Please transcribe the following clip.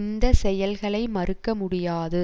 இந்த செயல்களை மறுக்க முடியாது